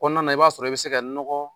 Kɔnɔna na i b'a sɔrɔ i bɛ se ka n nɔgɔ